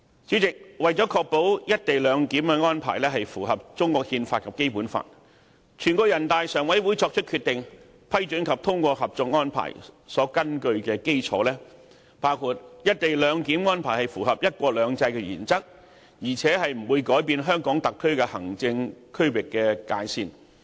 主席，為確保"一地兩檢"安排符合中國憲法及《基本法》，全國人大常委會作出決定批准及通過《合作安排》，所根據的基礎包括"一地兩檢"安排符合"一國兩制"原則，而且不會改變香港特區行政區域界線。